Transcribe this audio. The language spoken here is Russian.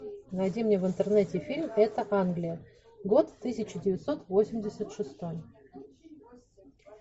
найди мне в интернете фильм эта англия год тысяча девятьсот восемьдесят шестой